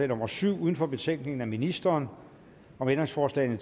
nummer syv uden for betænkningen af ministeren om ændringsforslag